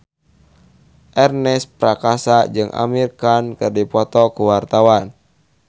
Ernest Prakasa jeung Amir Khan keur dipoto ku wartawan